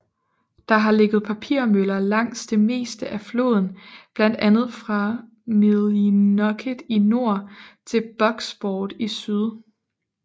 Der har ligget papirmøller langs det meste af floden blandt andet fra Millinocket i nord til Bucksport i syd